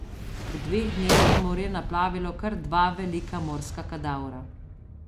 V dveh dneh je morje naplavilo kar dva velika morska kadavra.